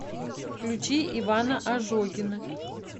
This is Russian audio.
включи ивана ожогина